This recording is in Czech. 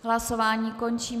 Hlasování končím.